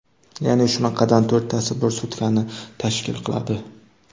Ya’ni, shunaqadan to‘rttasi bir sutkani tashkil qiladi.